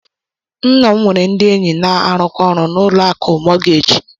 Nna m nwere ndị enyi na-arụkọ ọrụ na ụlọ akụ mọọgeeji.